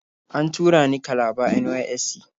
An tura ni Kalaba NYSC.